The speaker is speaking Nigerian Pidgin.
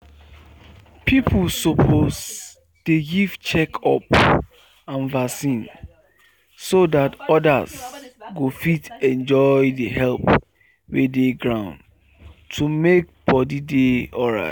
people suppose dey give check up and vaccine so that others go fit enjoy the help wey dey ground to make body dey alright.